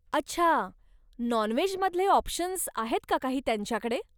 अच्छा, नॉन व्हेजमधले ऑप्शन्स आहेत का काही त्यांच्याकडे?